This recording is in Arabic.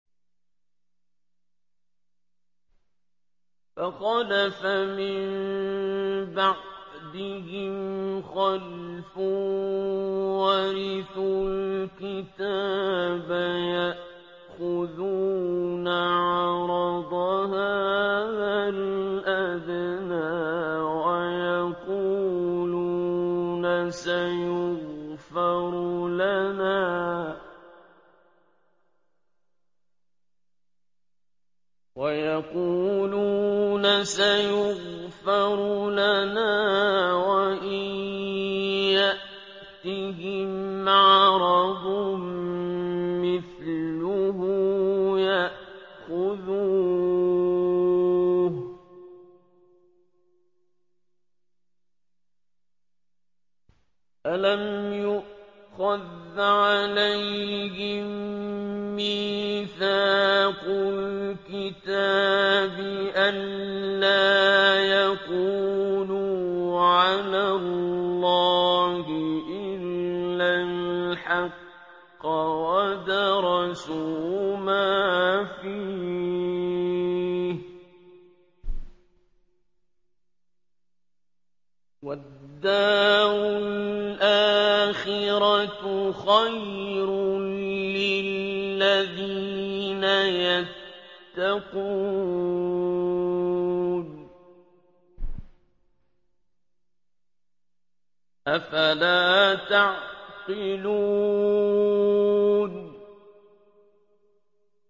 فَخَلَفَ مِن بَعْدِهِمْ خَلْفٌ وَرِثُوا الْكِتَابَ يَأْخُذُونَ عَرَضَ هَٰذَا الْأَدْنَىٰ وَيَقُولُونَ سَيُغْفَرُ لَنَا وَإِن يَأْتِهِمْ عَرَضٌ مِّثْلُهُ يَأْخُذُوهُ ۚ أَلَمْ يُؤْخَذْ عَلَيْهِم مِّيثَاقُ الْكِتَابِ أَن لَّا يَقُولُوا عَلَى اللَّهِ إِلَّا الْحَقَّ وَدَرَسُوا مَا فِيهِ ۗ وَالدَّارُ الْآخِرَةُ خَيْرٌ لِّلَّذِينَ يَتَّقُونَ ۗ أَفَلَا تَعْقِلُونَ